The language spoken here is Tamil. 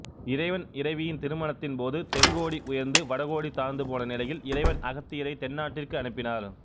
இறைவன் இறைவியின் திருமணத்தின்போது தென் கோடி உயர்ந்து வட கோடி தாழ்ந்து போன நிலையில் இறைவன் அகத்தியரை தென்னாட்டிற்கு அனுப்பினார்